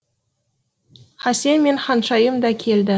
хасен мен ханшайым да келді